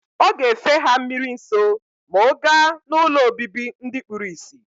Oga efe ha mmiri nso ma oga na ụlọ obibi ndi kpuru isi.